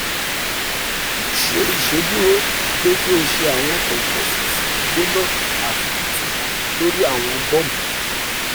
mo ṣe iṣeduro pe ki o ṣe awọn compresses gbona ati tutu lori awọn bump